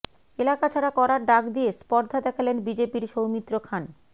এলাকা ছাড়া করার ডাক দিয়ে স্পর্ধা দেখালেন বিজেপির সৌমিত্র খান